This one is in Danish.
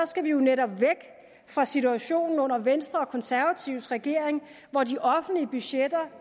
skal vi jo netop væk fra situationen under venstre og konservatives regering hvor de offentlige budgetter